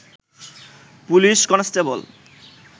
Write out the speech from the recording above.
police constable